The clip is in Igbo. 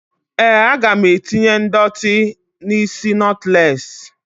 #NAME?